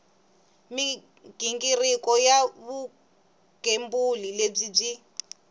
mighingiriko ya vugembuli lebyi byi